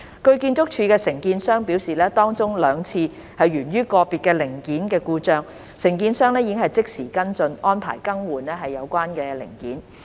據建築署的承建商表示，當中兩次源於個別零件故障，承建商已即時跟進，安排更換有關零件。